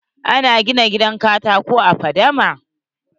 Ana gina gidan katako a fadama?